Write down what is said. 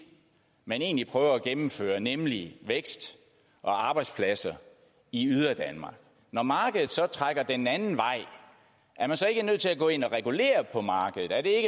man egentlig prøver at gennemføre nemlig vækst og arbejdspladser i yderdanmark når markedet så trækker den anden vej er man så ikke nødt til at gå ind og regulere på markedet er det